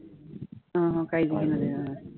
हम्म हम्म काही घेणं देणं नाही.